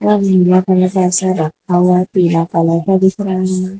आ नीला कलर का ऐसे रखा हुआ है पीला कलर का दिख रहा है।